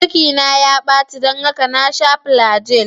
Cikina ya baci don haka na sha flagyl.